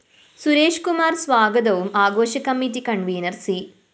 സുരേഷ് കുമാര്‍ സ്വാഗതവും ആഘോഷ committee convener‍ C